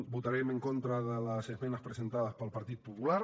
votarem en contra de les esmenes presentades pel partit popular